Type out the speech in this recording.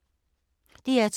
DR2